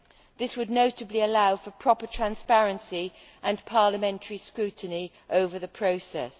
This would notably allow for proper transparency and parliamentary scrutiny over the process.